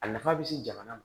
A nafa bɛ se jamana ma